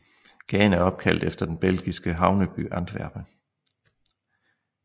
Gaden er opkaldt efter den belgiske havneby Antwerpen